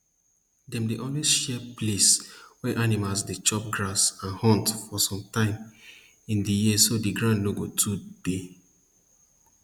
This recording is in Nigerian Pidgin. dem dey always share place wey animals dey chop grass and hunt for some time in di year so di ground no go too dey